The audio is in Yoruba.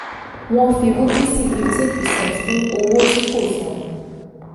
wọ́n fi rúpúsì 15 percent kún owó tí kò san